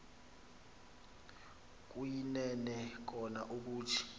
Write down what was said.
kuyinene kona ukuthi